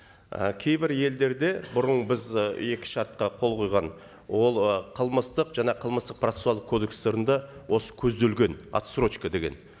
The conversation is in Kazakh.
і кейбір елдерде бұрын біз і екі шартқа қол қойған ол ы қылмыстық жаңа қылмыстық процессуалдық кодекстерінде осы көзделген отсрочка деген